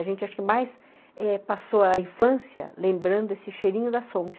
A gente acho que mais eh passou a infância lembrando esse cheirinho da Sonksen.